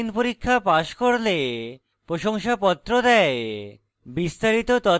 online পরীক্ষা pass করলে প্রশংসাপত্র দেয়